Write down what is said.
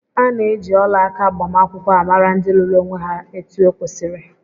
Ana eji ọlaaka agbamakwụkwọ amara ndị lụrụ onwé há etu okwesiri.